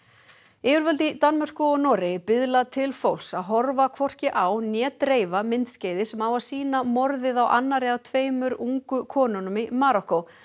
yfirvöld í Danmörku og Noregi biðla til fólks að horfa hvorki á né dreifa myndskeiði sem á að sýna morðið á annarri af tveimur ungu konunum í Marokkó